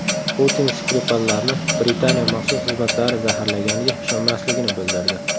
Putin Skripallarni Britaniya maxsus xizmatlari zaharlaganiga ishonmasligini bildirdi.